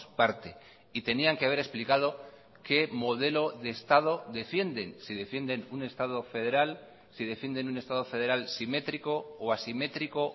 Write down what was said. parte y tenían que haber explicado que modelo de estado defienden si defienden un estado federal si defienden un estado federal simétrico o asimétrico